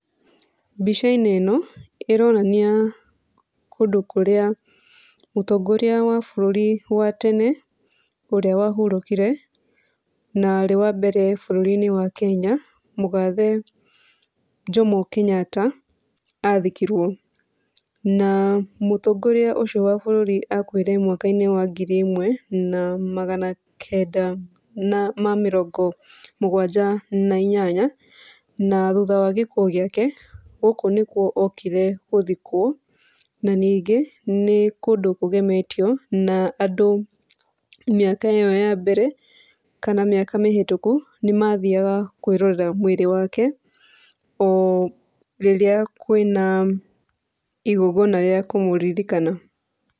Mbica-inĩ ĩno ĩronania kũndũ kũrĩa mũtongoria wa bũrũri wa tene ũrĩa wahurũkire, na arĩ wa mbere bũrũri-inĩ wa Kenya, mũgathe Jomo Kenyatta athikirwo. Na mũtongoria ũcio wa bũrũri akuire mwaka-inĩ wa ngiri ĩmwe na magana kenda na ma mĩrongo mũgwanja na inyanya, na thutha wa gĩkuũ gĩake gũkũ nĩkwo okire gũthikwo, na ningĩ nĩ kũndũ kũgemetio, na andũ mĩaka ĩyo ya mbere kana mĩaka mĩhĩtũku, nĩmathiaga kwĩrorera mwĩrĩ wake, o rĩrĩa kwĩna igongona rĩa kũmũririkana.